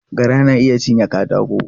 Gara na iya cinye katako.